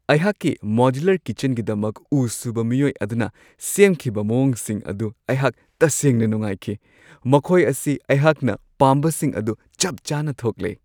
ꯑꯩꯍꯥꯛꯀꯤ ꯃꯣꯗ꯭ꯌꯨꯂꯔ ꯀꯤꯆꯟꯒꯤꯗꯃꯛ ꯎ-ꯁꯨꯕ ꯃꯤꯑꯣꯏ ꯑꯗꯨꯅ ꯁꯦꯝꯈꯤꯕ ꯃꯋꯣꯡꯁꯤꯡ ꯑꯗꯨ ꯑꯩꯍꯥꯛ ꯇꯁꯦꯡꯅ ꯅꯨꯡꯉꯥꯏꯈꯤ ꯫ ꯃꯈꯣꯏ ꯑꯁꯤ ꯑꯩꯍꯥꯛꯅ ꯄꯥꯝꯕꯁꯤꯡ ꯑꯗꯨ ꯆꯞ ꯆꯥꯅ ꯊꯣꯛꯂꯦ ꯫